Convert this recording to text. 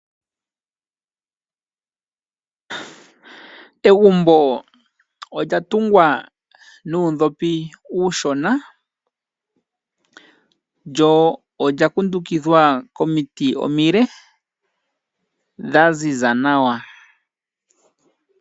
Egumbo olya tungwa nuundhopi uushona lyo olya kundukidhwa komiti omile dha ziza nawa.